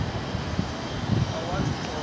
a u athu u thoma